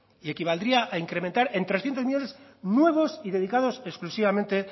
y equivaldría a incrementar en trescientos millónes nuevos y dedicados exclusivamente